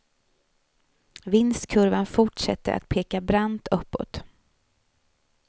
Vinstkurvan fortsätter att peka brant uppåt.